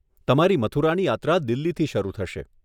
તમારી મથુરાની યાત્રા દિલ્હીથી શરૂ થશે.